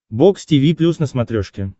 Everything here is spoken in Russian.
бокс тиви плюс на смотрешке